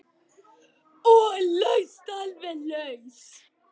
Og alveg laus.